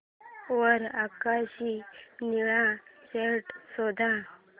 वर आकाशी निळा शर्ट शोध